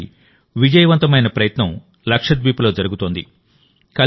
అలాంటి విజయవంతమైన ప్రయత్నం లక్షద్వీప్లో జరుగుతోంది